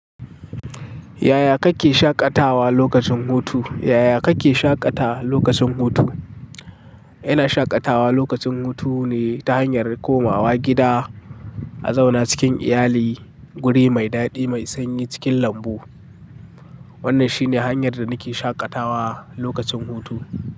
Yaya kake shaƙatawa lokacin hutu? Yaya kake shaƙatawa lokacin hutu? Ina shaƙatawa lokacin hutu ne ta hanyar komawa gida, a zauna cikin iyali guri mai daɗi mai sanyi cikin lambu. Wannan shi ne hanyar da nake shaƙatawa lokacin hutu.